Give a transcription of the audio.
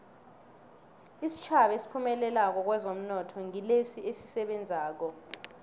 isitjhaba esiphumelelako kwezomnotho ngilesi esisebenzako